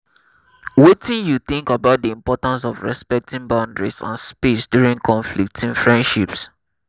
wetin you think about di importance of respecting boundaries and space during conflicts in friendships?